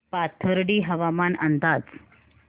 पाथर्डी हवामान अंदाज